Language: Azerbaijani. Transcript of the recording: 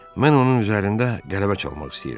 Mən onun üzərində qələbə çalmaq istəyirəm.